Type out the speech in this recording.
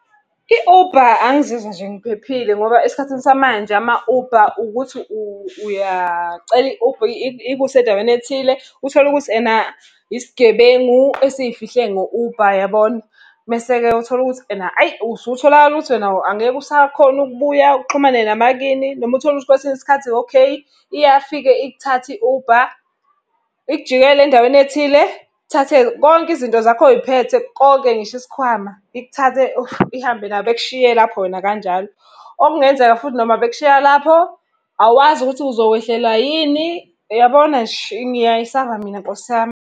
I-Uber angizizwa nje ngiphephile ngoba esikhathini samanje ama-Uber ukuthi uyacela i-Uber ikuse endaweni ethile, uthole ukuthi ena isigebengu esiyifihle ngo-Uber yabona. Mese-ke uthole ukuthi ena hhayi usutholakala ukuthi wena angeke usakhona ukubuya uxhumane nabakini. Noma uthole ukuthi kwesinye isikhathi okay, iyafika ikuthathe i-Uber, ikujikele endaweni, thathe konke izinto zakho oy'phethe, konke ngisho isikhwama. Ikuthathe ihambe nakho, bekushiye lapho wena kanjalo. Okungenzeka futhi noma bekushiya lapho, awazi ukuthi uzokwehlelwa yini, uyabona nje, ngiyayisaba mina Nkosi yami.